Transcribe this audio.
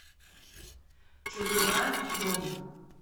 чудура петровна